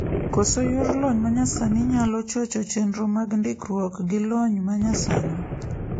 Koso yor lony manyasani nyalo chocho chenro mag ndikruok gilony manyasani.